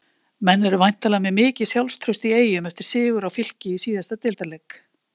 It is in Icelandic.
Menn eru væntanlega með mikið sjálfstraust í Eyjum eftir sigur á Fylki í síðasta deildarleik?